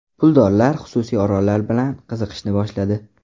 Puldorlar xususiy orollar bilan qiziqishni boshladi.